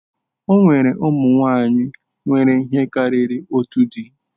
O nwere ụmụ nwanyị nwere ihe karịrị otu di.